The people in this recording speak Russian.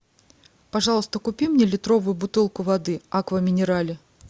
пожалуйста купи мне литровую бутылку воды аква минерале